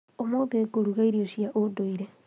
ũmũthĩ ngũruga irio cia ũndũire